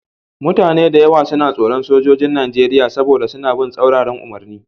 Mutane da yawa suna tsoron Sojojin Najeriya saboda suna bin tsauraran umarni